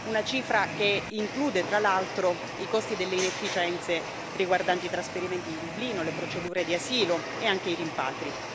Una cifra che include, tra l'altro, i costi delle inefficienze riguardanti i trasferimenti di Dublino, le procedure di asilo e anche i rimpatri.